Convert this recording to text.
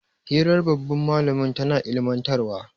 hirar babban malamin tana ilimantarwa